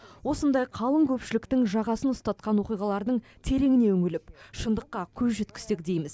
осындай қалың көпшіліктің жағасын ұстатқан оқиғалардың тереңіне үңіліп шындыққа көз жеткізсек дейміз